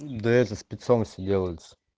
да это спецом все делается